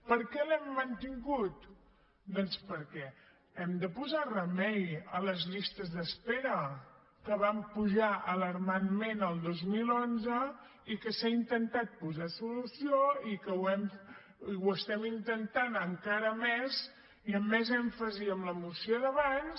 per què l’hem mantingut doncs perquè hem de posar remei a les llistes d’espera que van pujar alarmantment el dos mil onze i que s’hi ha intentat posar solució i que ho estem intentant encara més i amb més èmfasi amb la moció d’abans